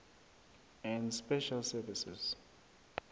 and special services